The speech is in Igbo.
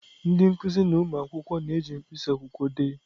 Ndị nkuzi na ụmụ akwụkwọ na-eji mkpịsị akwụkwọ dee.